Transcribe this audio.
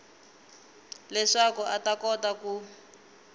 leswaku a ta kota ku